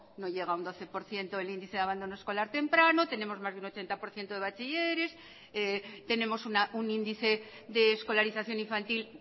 no llega al doce por ciento el índice de abandono escolar temprano tenemos más de un ochenta por ciento de bachilleres tenemos un índice de escolarización infantil